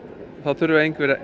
þurfum